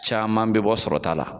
Caman be bɔ sɔrɔ ta la.